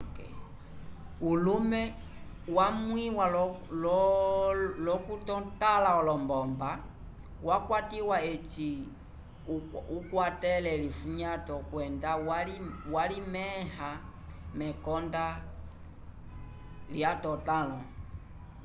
ulumw wamwĩwa l'okutotãla olombomba wakwatiwa eci akwatele elifunyato kwenda walimẽha mekonda lyetotãlo